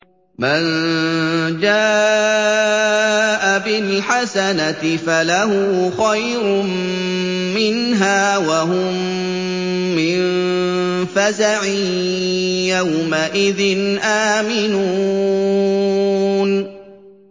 مَن جَاءَ بِالْحَسَنَةِ فَلَهُ خَيْرٌ مِّنْهَا وَهُم مِّن فَزَعٍ يَوْمَئِذٍ آمِنُونَ